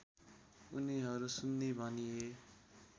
उनीहरू सुन्नी भनिए